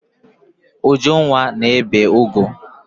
Ujunwa na-ebi ụgụ.